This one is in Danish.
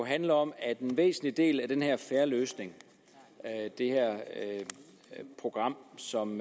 handler om at en væsentlig del af den her en fair løsning det her program som